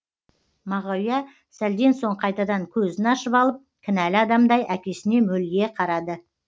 мағауия сәлден соң қайтадан көзін ашып алып кінәлі адамдай әкесіне мөлие қарады